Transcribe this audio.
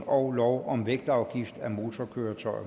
og